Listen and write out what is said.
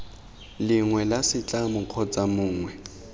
lengwe la setlamo kgotsa mongwe